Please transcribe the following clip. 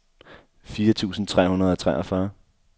firs tusind tre hundrede og treogfyrre